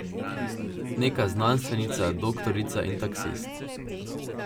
Neka znanstvenica, doktorica in taksist.